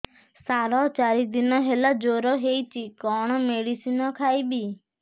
ସାର ଚାରି ଦିନ ହେଲା ଜ୍ଵର ହେଇଚି କଣ ମେଡିସିନ ଖାଇବି